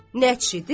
Nəçidir?